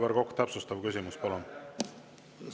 Aivar Kokk, täpsustav küsimus, palun!